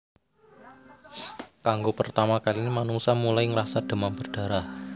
Kanggo pertama kaline manungsa mulai ngrasa demam berdarah